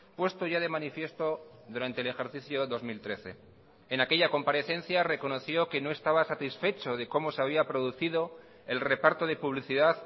puesto ya de manifiesto durante el ejercicio dos mil trece en aquella comparecencia reconoció que no estaba satisfecho de cómo se había producido el reparto de publicidad